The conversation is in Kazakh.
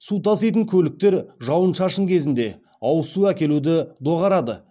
су таситын көліктер жауын шашын кезінде ауызсу әкелуді доғарады